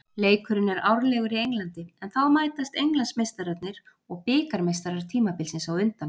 Leikurinn er árlegur í Englandi en þá mætast Englandsmeistararnir og bikarmeistarar tímabilsins á undan.